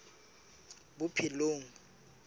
bophelong